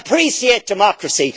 Appreciate democracy.